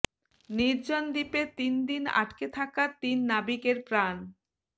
নির্জন দ্বীপে তিন দিন আটকে থাকা তিন নাবিকের প্রাণ